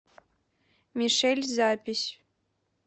мишель запись